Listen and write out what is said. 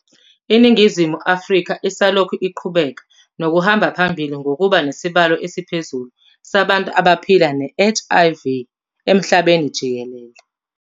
INingizimu Afrika isalokhu iqhubeka nokuhamba phambili ngokuba nesibalo esiphezulu sabantu abaphila ne-HIV emhlabeni jikelele.